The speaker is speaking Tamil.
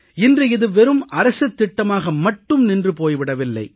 இன்று இது வெறும் அரசுத் திட்டமாக மட்டும் நின்று போய் விடவில்லை